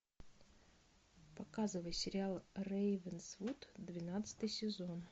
показывай сериал рейвенсвуд двенадцатый сезон